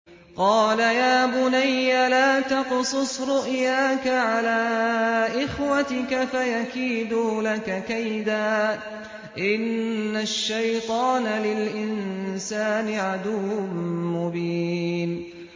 قَالَ يَا بُنَيَّ لَا تَقْصُصْ رُؤْيَاكَ عَلَىٰ إِخْوَتِكَ فَيَكِيدُوا لَكَ كَيْدًا ۖ إِنَّ الشَّيْطَانَ لِلْإِنسَانِ عَدُوٌّ مُّبِينٌ